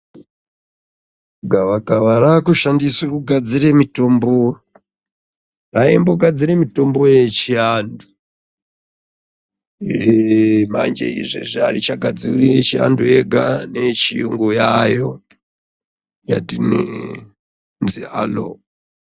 Gavakava raakushandiswe kugadzire mitombo raimbogadzire mitombo yechiantu manj izvezvi aichagadziri yechiantu yega neechiyungu yaayo yati neee.